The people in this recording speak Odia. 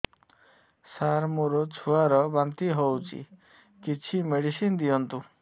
ସାର ମୋର ଛୁଆ ର ବାନ୍ତି ହଉଚି କିଛି ମେଡିସିନ ଦିଅନ୍ତୁ